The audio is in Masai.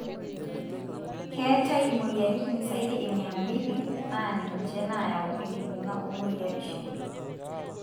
keetae imoyiaritin saidi e mia mbili, na ninche nayau enkibunga o-morioshi.